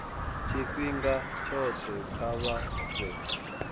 tshifhinga tshothe kha vha fhe